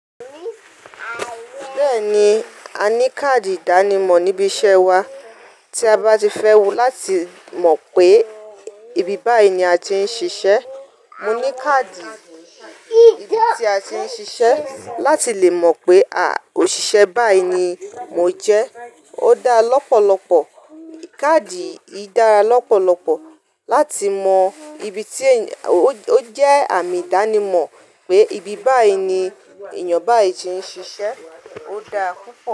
Bẹ́ẹ̀ni, a ní káàdì ìdánimọ̀ níbi iṣẹ́ wa tí a bá ti fẹ́ wo, láti mọ̀ pé ibi báyìí ni a ti ń ṣiṣẹ́. Mo ní káàdì ibi tí a ti ń ṣiṣẹ́ láti lè mọ̀ pé, ha, òṣìṣẹ́ báyìí ni mo jẹ́. Ó dáa lọ́pọ̀lọpọ̀. Káàdì yìí dára lọ́pọ̀lọpọ̀ láti mọ ibi tí ẹ̀, ó jẹ́ àmì ìdánimọ̀ pé ibi báyìí ni èèyàn báyìí ti ń ṣiṣẹ́. Ó dáa púpọ̀